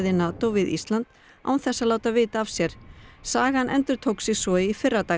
NATO við Ísland án þess að láta vita af sér sagan endurtók sig svo í fyrradag